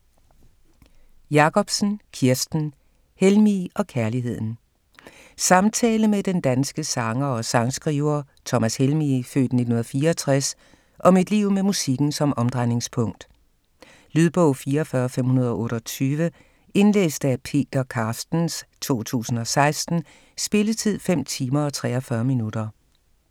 Jacobsen, Kirsten: Helmig og kærligheden Samtale med den danske sanger og sangskriver Thomas Helmig (f. 1964) om et liv med musikken som omdrejningspunkt. Lydbog 44528 Indlæst af Peter Carstens, 2016. Spilletid: 5 timer, 43 minutter.